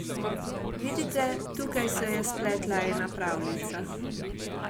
Vidite, tukaj se je spletla ena pravljica.